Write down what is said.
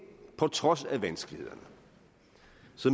på trods af vanskelighederne